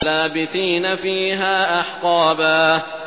لَّابِثِينَ فِيهَا أَحْقَابًا